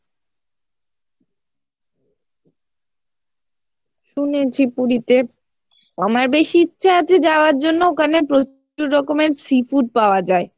শুনেছি পুরীতে আমার বেশ ইচ্ছা আছে যাওয়ার জন্য ওখানে প্রচুর রকমের seafood পাওয়া যাই